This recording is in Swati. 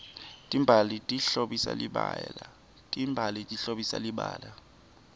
timbali tihlobisa libala